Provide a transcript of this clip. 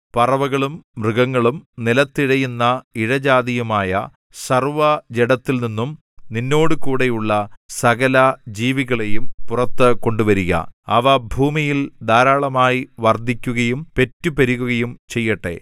പറവകളും മൃഗങ്ങളും നിലത്ത് ഇഴയുന്ന ഇഴജാതിയുമായ സർവ്വജഡത്തിൽനിന്നും നിന്നോടുകൂടെയുള്ള സകലജീവികളെയും പുറത്ത് കൊണ്ടുവരുക അവ ഭൂമിയിൽ ധാരാളമായി വർദ്ധിക്കുകയും പെറ്റു പെരുകുകയും ചെയ്യട്ടെ